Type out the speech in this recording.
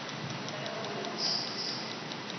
ka ge ba mo lapišitše